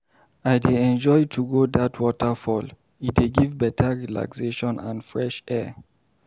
I dey enjoy to go dat waterfall, e dey give better relaxation and fresh air.